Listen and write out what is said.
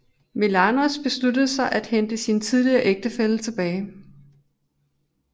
Menelaos besluttede at hente sin tidligere ægtefælle tilbage